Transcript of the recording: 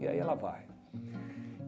E aí ela vai.